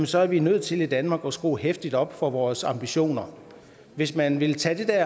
så er vi nødt til i danmark at skrue heftigt op for vores ambitioner hvis man vil tage det der